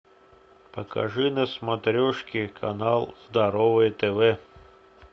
покажи на смотрешке канал здоровое тв